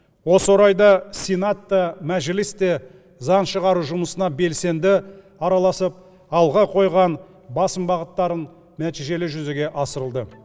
осы орайда сенат та мәжіліс те заң шығару жұмысына белсенді араласып алға қойған басым бағыттарын нәтижелі жүзеге асырылды